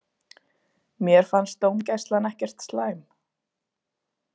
Mér fannst dómgæslan ekkert slæm.